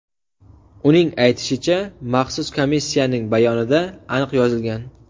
Uning aytishicha, Maxsus komissiyaning bayonida aniq yozilgan.